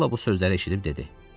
Sulla bu sözləri eşidib dedi: